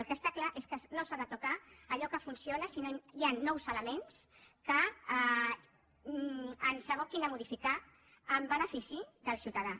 el que està clar és que no s’ha de tocar allò que funciona si no hi han nous elements que ens aboquin a modificar en benefici del ciutadà